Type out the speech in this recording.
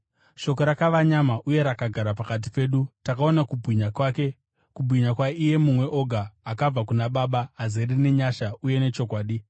Shoko rakava nyama uye rakagara pakati pedu. Takaona kubwinya kwake, kubwinya kwaIye Mumwe Oga, akabva kuna Baba, azere nenyasha uye nechokwadi.